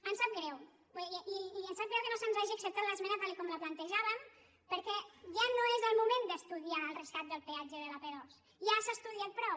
ens sap greu i ens sap greu que no se’ns hagi acceptat l’esmena tal com la plantejàvem perquè ja no és el moment d’estudiar el rescat del peat·ge de l’ap·dos ja s’ha estudiat prou